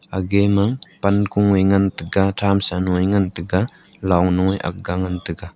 ege me pan ku e ngan tega thamsan wai ngan tega long nu e ga ngan tega.